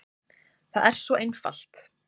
Það er svo einfalt.